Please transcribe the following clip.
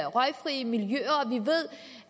røgfri miljøer og vi ved